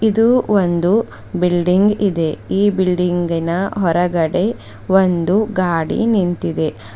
ಇದು ಒಂದು ಬಿಲ್ಡಿಂಗ್ ಇದೆ ಈ ಬಿಲ್ಡಿಂಗಿನ ಹೊರಗಡೆ ಒಂದು ಗಾಡಿ ನಿಂತಿದೆ.